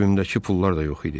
Cibimdəki pullar da yox idi.